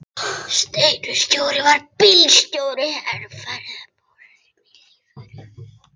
Steini verkstjóri var bílstjóri en Friðbert múrari var lífvörður.